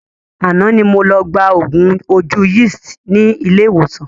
Àná ni mo lọ gba oògùn ojú Yeast ni ilé ìwòsàn